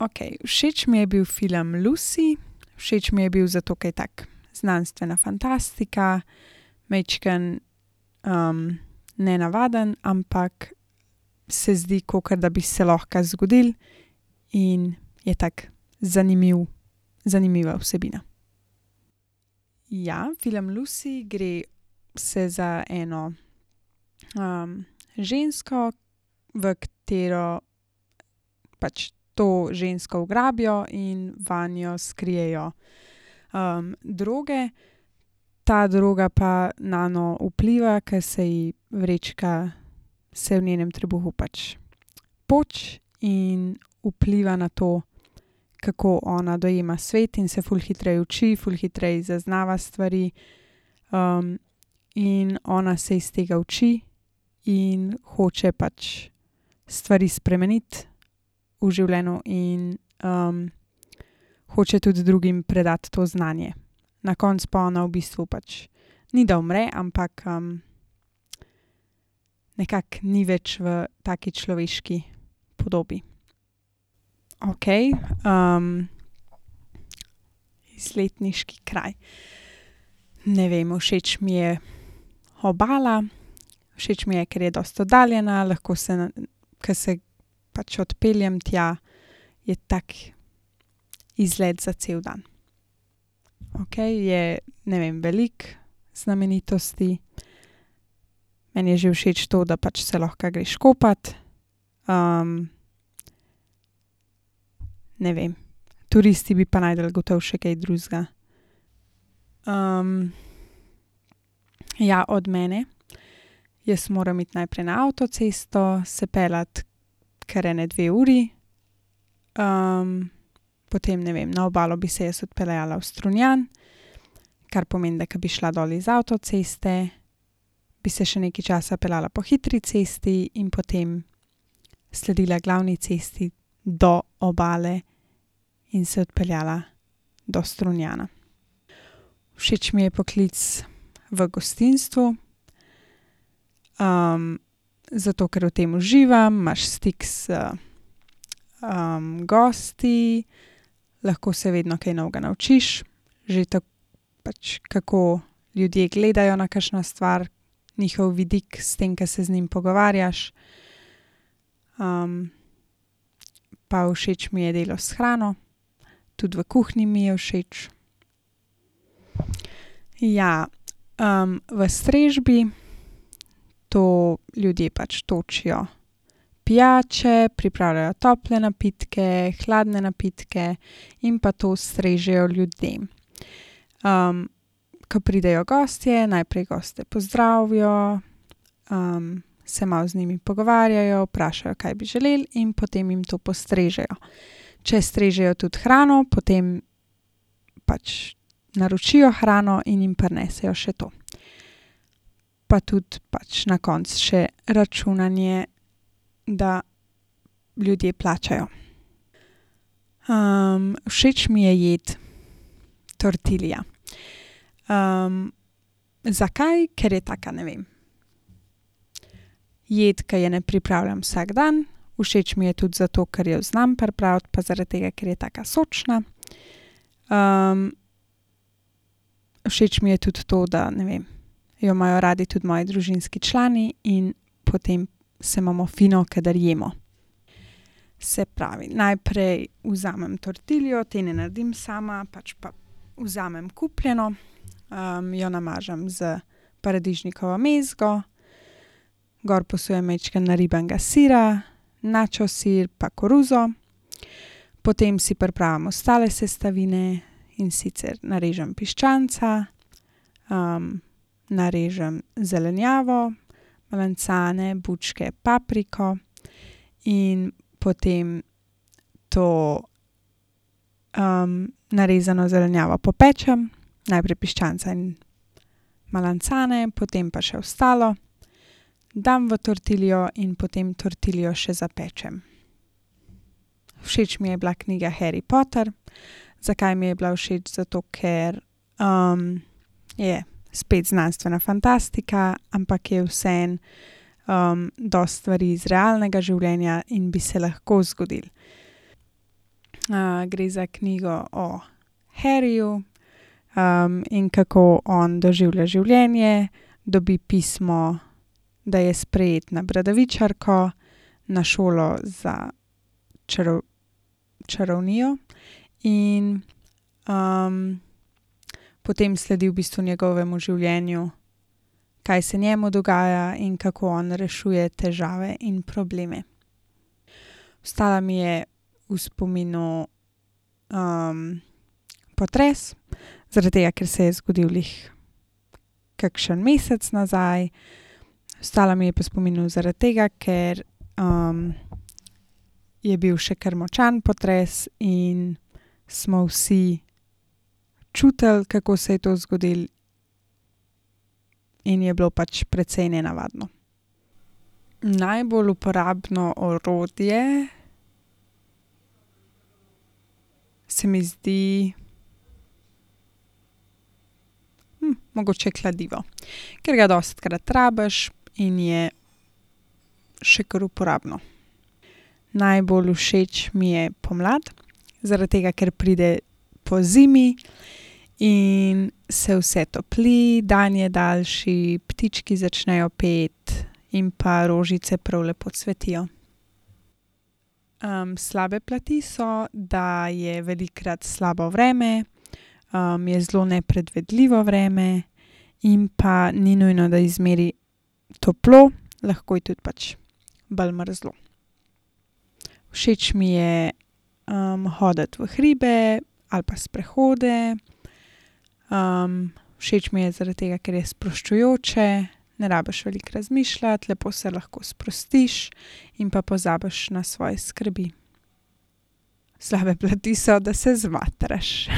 Okej, všeč mi je bil film Lucy. Všeč mi je bil, zato ke je tako znanstvena fantastika, majčkeno, nenavaden, ampak se zdi, kakor da bi se lahko zgodilo, in je tako zanimiv, zanimiva vsebina. Ja, film Lucy gre se za eno, žensko, v katero pač, to žensko ugrabijo in vanjo skrijejo, droge. Ta droga pa nanjo vpliva, ke se ji vrečka, se v njenem trebuhu pač poči in vpliva na to, kako ona dojema svet in se ful hitreje uči, ful hitreje zaznava stvari. in ona se iz tega uči in hoče pač stvari spremeniti v življenju in, hoče tudi drugim predati to znanje. Na koncu pa ona v bistvu pač, ni da umre, ampak, nekako ni več v taki človeški podobi. Okej, izletniški kraj. Ne vem, všeč mi je Obala, všeč mi je, ker je dosti oddaljena, lahko se ko se pač odpeljem tja, je tak izlet za cel dan. Okej je, ne vem, veliko znamenitosti. Meni je že všeč to, da pač se lahko greš kopat. ne vem. Turisti bi pa našli gotovo še kaj drugega. ja, od mene. Jaz moram iti najprej na avtocesto, se peljati ker ene dve uri. potem, ne vem, na Obalo bi se jaz odpeljala v Strunjan. Kar pomeni, da ko bi šla dol iz avtoceste, bi se še nekaj časa peljala po hitri cesti in potem sledila glavni cesti do Obale in se odpeljala do Strunjana. Všeč mi je poklic v gostinstvu. zato, ker v tem uživam. Imaš stik z, gosti, lahko se vedno kaj novega naučiš. Že pač kako ljudje gledajo na kakšno stvar, njihov vidik, s tem, ko se z njim pogovarjaš. pa všeč mi je delo s hrano. Tudi v kuhinji mi je všeč. Ja, v strežbi, to ljudje pač točijo pijače, pripravljajo tople napitke, hladne napitke in pa to strežejo ljudem. ko pridejo gostje, najprej goste pozdravijo, se malo z njimi pogovarjajo, vprašajo, kaj bi želeli, in potem jim to postrežejo. Če strežejo tudi hrano, potem pač naročijo hrano in jim prinesejo še to. Pa tudi pač na koncu še računanje, da ljudje plačajo. všeč mi je jed tortilja. zakaj? Ker je taka, ne vem, jed, ke je ne pripravljam vsak dan. Všeč mi je tudi za to, ker jo znam pripraviti, pa zaradi tega, ker je taka sočna. všeč mi je tudi to, da, ne vem, jo imajo radi tudi moji družinski člani in potem se imamo fino, kadar jemo. Se pravi, najprej vzamem tortiljo. Te ne naredim sama, pač pa vzamem kupljeno, jo namažem s paradižnikovo mezgo, gor posujem majčkeno naribanega sira, nacho sir pa koruzo. Potem si pripravim ostale sestavine, in sicer narežem piščanca, narežem zelenjavo, melancane, bučke, papriko. In potem to, narezano zelenjavo popečem, najprej piščanca in melancane, potem pa še ostalo. Dam v tortiljo in potem tortiljo še zapečem. Všeč mi je bila knjiga Harry Potter. Zakaj mi je bila všeč? Zato ker, je spet znanstvena fantastika, ampak je vseeno, dosti stvari iz realnega življenja in bi se lahko zgodilo. gre za knjigo o Harryju, in kako on doživlja življenje, dobi pismo, da je sprejet na Bradavičarko, na šolo za čarovnijo. In, potem sledi v bistvu njegovemu življenju, kaj se njemu dogaja in kako on rešuje težave in probleme. Ostal mi je v spominu, potres. Zaradi tega, ker se je zgodilo glih kakšen mesec nazaj. Ostal mi je pa v spominu zaradi tega, ker, je bil še kar močan potres in smo vsi čutili, kako se je to zgodilo, in je bilo pač precej nenavadno. Najbolj uporabno orodje se mi zdi, mogoče kladivo, ker ga dostikrat rabiš in je še kar uporabno. Najbolj všeč mi je pomlad, zaradi tega, ker pride po zimi in se vse topli, dan je daljši, ptički začnejo peti in pa rožice prav lepo cvetijo. slabe plati so, da je velikokrat slabo vreme, je zelo nepredvidljivo vreme in pa ni nujno, da je zmeraj toplo, lahko je tudi pač bolj mrzlo. Všeč mi je, hoditi v hribe, ali pa sprehode. všeč mi je zaradi tega, ker je sproščujoče, ne rabiš veliko razmišljati, lepo se lahko sprostiš in pa pozabiš na svoje skrbi. Slabe plati so, da se zmatraš.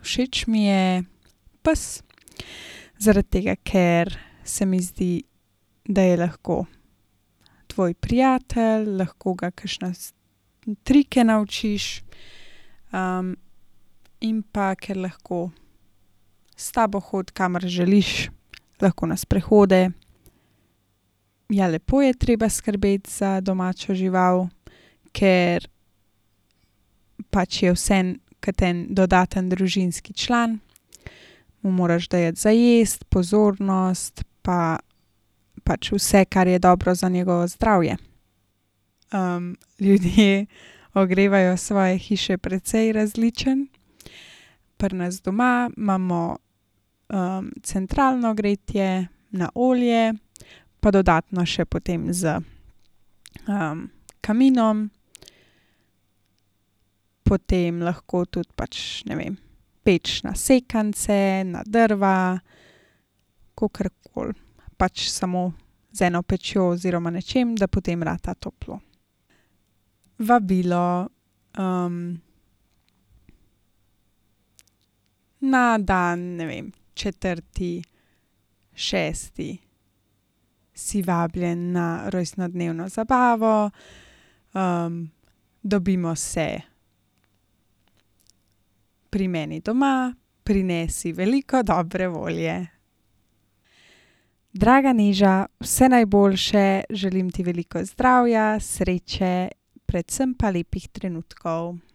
všeč mi je pes. Zaradi tega, ker se mi zdi, da je lahko tvoj prijatelj, lahko ga kakšne trike naučiš, in pa ker lahko s tabo hodi, kamor želiš. Lahko na sprehode. Ja, lepo je treba skrbeti za domačo žival, ker pač je vseeno kot en dodaten družinski član. Mu moraš dajati za jesti, pozornost pa pač vse, kar je dobro za njegovo zdravje. ljudje ogrevajo svoje hiše precej različno. Pri nas doma imamo, centralno gretje, na olje. Pa dodatno še potem s, kaminom. Potem lahko tudi pač, ne vem, peč na sekance, na drva, kakorkoli, pač samo z eno pečjo oziroma nečim, da potem rata toplo. Vabilo. na dan, ne vem, četrti šesti, si vabljen na rojstnodnevno zabavo. dobimo se pri meni doma. Prinesi veliko dobre volje. Draga Neža, vse najboljše. Želim ti veliko zdravja, sreče predvsem pa lepih trenutkov.